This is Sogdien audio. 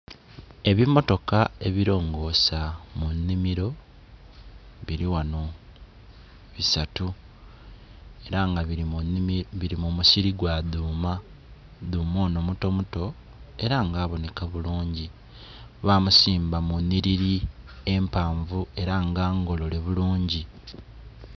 Ebimotaka ebilongosa mu enhimiro biri ghano bisaatu era nga biri mu musiri gwa duuma. Duuma onho mutomuto, era nga aboneka bulungi, bamusimba mu nhiriri empanvu era nga ngolole bulungi.